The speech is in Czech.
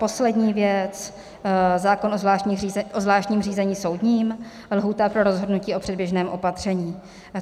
Poslední věc, zákon o zvláštním řízení soudním, lhůta pro rozhodnutí o předběžném opatření.